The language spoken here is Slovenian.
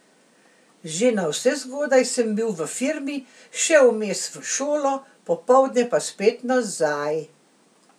Že navsezgodaj sem bil v firmi, šel vmes v šolo, popoldne pa spet nazaj.